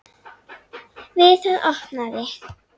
Við það opnaði